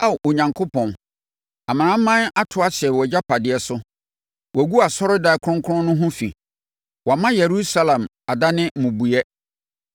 Ao Onyankopɔn, amanaman no ato ahyɛ wʼagyapadeɛ so; wɔagu wʼasɔredan kronkron no ho fi, wɔama Yerusalem adane mmubuiɛ.